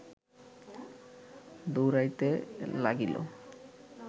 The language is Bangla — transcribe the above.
দৌড়াইতে লাগিল